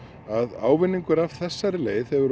að ávinningur af þessari leið hefur